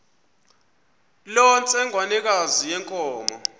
loo ntsengwanekazi yenkomo